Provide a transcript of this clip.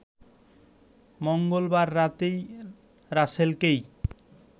মঙ্গলবার রাতেই রাসেলকেই